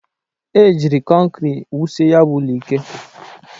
E jiri kọnkri wusie ya bụ ụlọ ike.